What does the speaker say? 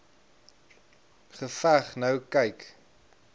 geveg nou kyk